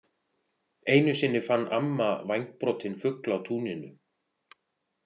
Einu sinni fann amma vængbrotinn fugl á túninu.